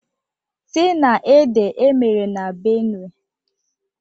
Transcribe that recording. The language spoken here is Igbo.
tie-na-ede e mere na Benue